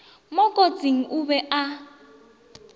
mo kote o be a